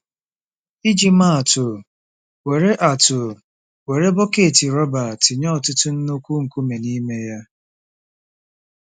Iji maa atụ: Were atụ: Were bọket rọba tinye ọtụtụ nnukwu nkume n’ime ya.